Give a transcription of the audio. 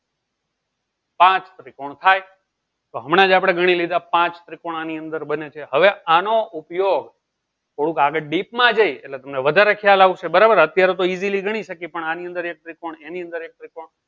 પાંચ ત્રિકોણ થાય તો હમણાં જ આપડે ગનીલીધા પાંચ ત્રિકોણ આની અંદર બને છે હવે આનો ઉપયોગ થોડુંક આગળ deep માં જઈ એટલે તમને વધારે ખ્યાલ આવશે બરાબર તો અત્યારે તો easily ગણી શકીએ પણ આની અંદર આની અંદર એક ત્રિકોણ એની અંદર એક ત્રિકોણ